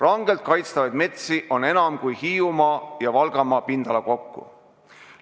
Rangelt kaitstavaid metsi on enam kui Hiiumaa ja Valgamaa pindala kokku.